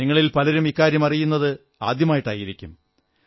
നിങ്ങളിൽ പലരും ഇക്കാര്യം അറിയുന്നത് ആദ്യമായിട്ടായിരിക്കും